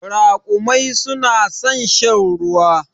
Raƙumai su na san shan ruwa.